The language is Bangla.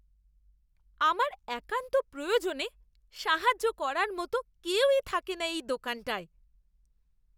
আমার একান্ত প্রয়োজনে সাহায্য করার মতো কেউই থাকে না এই দোকানটায়।